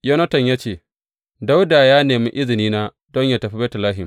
Yonatan ya ce, Dawuda ya nemi izinina don yă tafi Betlehem.